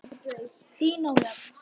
Þín, Ólöf.